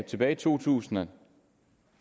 tilbage i to tusind og